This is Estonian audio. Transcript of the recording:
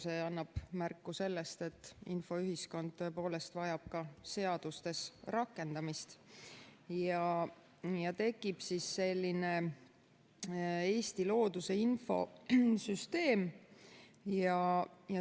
See annab märku sellest, et infoühiskond tõepoolest vajab ka seadustes rakendamist ja tekib selline Eesti looduse infosüsteem.